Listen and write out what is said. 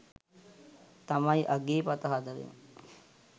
තමයි අගේ පද හතරෙම.